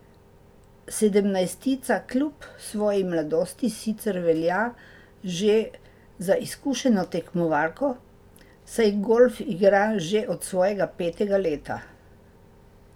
Sedemnajstletnica kljub svoji mladosti sicer velja že za izkušeno tekmovalko, saj golf igra že od svojega petega leta.